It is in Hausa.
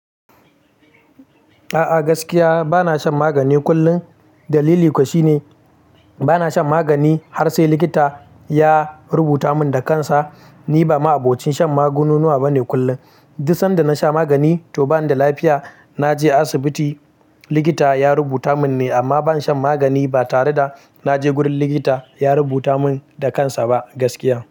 A'a gaskiya bana shan magani kullum. Dalili kuwa shine, bana shan magani har sai likita ya rubuta mun da kansa. Ni ba ma abokin shan magungunuwa bane kullum. Duba sanda na sha magani, to bani da lafiya. Na je asibiti likita ya rubuta mun ne, amma ban shan magani ba tare da na je gurin likita, ya rubuta mun da kansa ba gaskiya.